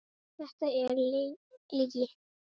Þetta er lygi.